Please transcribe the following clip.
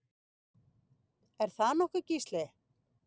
Er það nokkuð Gísli?